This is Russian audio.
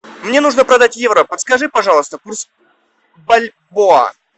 мне нужно продать евро подскажи пожалуйста курс бальбоа